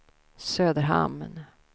Söderhamn